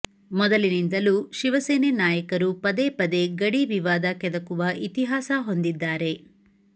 ಮೊದಲಿನಿಂದಲೂ ಶಿವಸೇನೆ ನಾಯಕರು ಪದೇ ಪದೇ ಗಡಿ ವಿವಾದ ಕೆದಕುವ ಇತಿಹಾಸ ಹೊಂದಿದ್ದಾರೆ